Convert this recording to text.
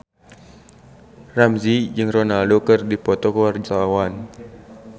Ramzy jeung Ronaldo keur dipoto ku wartawan